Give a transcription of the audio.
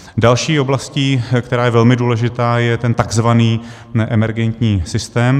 Další oblastí, která je velmi důležitá, je ten tzv. neemergentní systém.